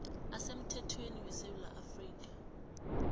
asemthethweni wesewula afrika